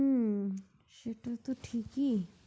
হু সেটা তো ঠিকই